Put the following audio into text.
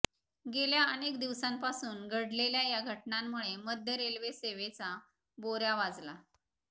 गेल्या अनेक दिवसांपासून घडलेल्या या घटनांमुळे मध्य रेल्वे सेवेचा बोऱ्या वाजला